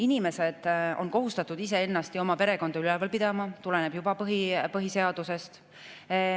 Inimesed on kohustatud iseennast ja oma perekonda üleval pidama, see tuleneb juba põhiseadusest.